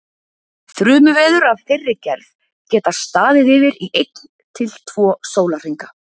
þrumuveður af þeirri gerð geta staðið yfir í einn til tveir sólarhringa